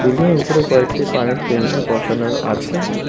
বিল্ডিংয়ের উপরে কয়েকটি পানির ট্যাংকি বসানোর আছে।